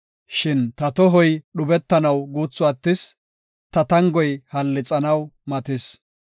Shin ta tohoy dhubetanaw guuthu attis; ta tangoy hallixanaw matis.